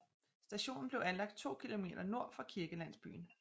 Stationen blev anlagt 2 km nord for kirkelandsbyen